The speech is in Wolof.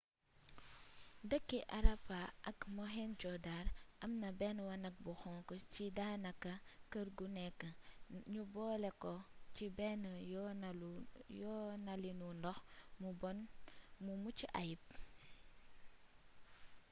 dëkki harappa ak mohenjo-dar am na benn wanag bu xonk cii daana ka kër gu nekk nu boole ko ci benn yoonalinu ndox muu bonn mu mucc ayub